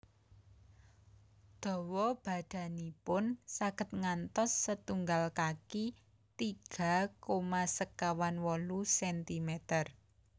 Dawa badanipun saged ngantos setunggal kaki tiga koma sekawan wolu cm